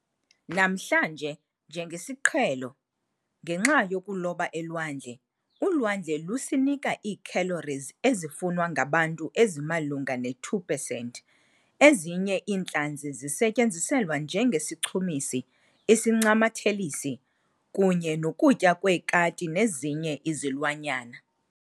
Namhlanje, njengesiqhelo ngenxa yokuloba elwandle, ulwandle lusinika ii-calories ezifunwa ngabantu ezimalunga ne-2 pesenti. Ezinye iintlanzi zisetyenziselwa njenge sichumisi, isincamathelisi, kunye nokutya kweekati nezinye izilwanyana.